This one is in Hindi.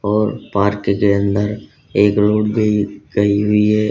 और पार्क के अंदर एक रोड भी गई हुई है।